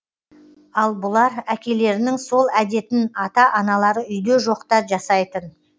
ал бұлар әкелерінің сол әдетін ата аналары үйде жоқта жасайтын